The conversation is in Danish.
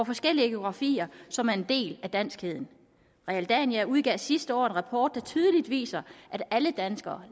forskellige geografier som er en del af danskheden realdania udgav sidste år en rapport der tydeligt viser at alle danskere